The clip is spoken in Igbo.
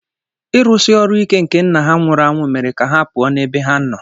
Ịrụsi ọrụ ike nke nna ha nwụrụ anwụ mere ka ha pụọ ​​n'ebe ha nọ.